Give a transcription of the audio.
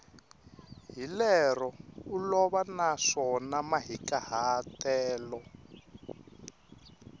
hi lero olova naswona mahikahatelo